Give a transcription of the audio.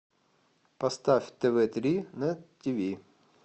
поставь тв три на тиви